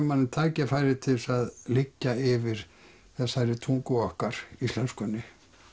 manni tækifæri til þess að liggja yfir þessari tungu okkar íslenskunni